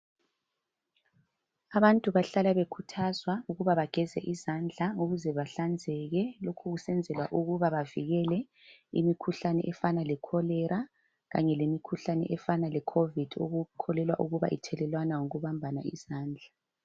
Abantu bahlala bekhuthazwa ukuba bageze izandla ukuze bahlanzeke lokhu kusenzelwa ukuba bavikele imikhuhlane efana leCholera kanye lemikhuhlane efana le Covid ethelelwana ngokubambana izandla.